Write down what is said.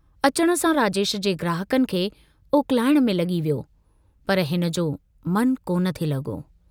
अचण सां राजेश जे ग्राहकनि खे उकलाइण में लगी वियो, पर हिनजो मनु कोन थे लगो।